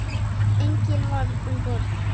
Enginn var um borð.